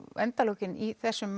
endalokin í þessum